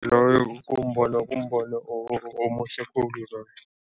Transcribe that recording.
Loyo kumbono kumbono omuhle khulu loyo.